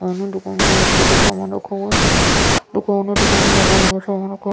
दुकान हैं दुकान में लकड़ी का सामान रखा हुआ दुकान हैं दुकान में लकड़ी का सामान रखा --